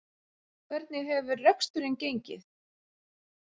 Hvernig hefur reksturinn gengið?